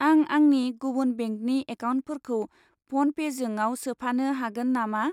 आं आंनि गुबुन बेंकनि एकाउन्टफोरखौ फ'नपेजोंयाव सोफानो हागोन नामा?